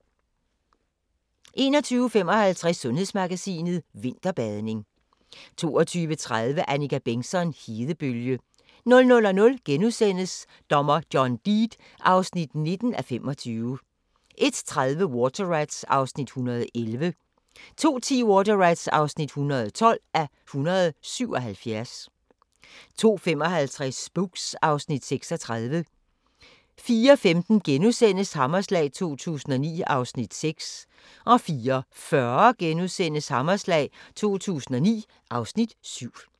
21:55: Sundhedsmagasinet: Vinterbadning 22:30: Annika Bengtzon: Hedebølge 00:00: Dommer John Deed (19:25)* 01:30: Water Rats (111:177) 02:10: Water Rats (112:177) 02:55: Spooks (Afs. 36) 04:15: Hammerslag 2009 (Afs. 6)* 04:40: Hammerslag 2009 (Afs. 7)*